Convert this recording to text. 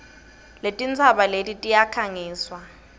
letintsaba eti tiyakhangiswa